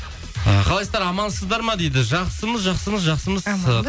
і қалайсыздар амансыздар ма дейді жақсымыз жақсымыз жақсымыз